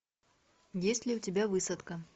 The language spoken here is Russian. есть ли у тебя высадка